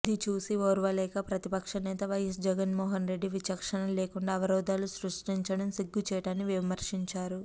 ఇది చూసి ఓర్వలేక ప్రతిపక్షనేత వైఎస్ జగన్మోహన్రెడ్డి విచక్షణలేకుండా అవరోధాలు సృష్టించటం సిగ్గుచేటని విమర్శించారు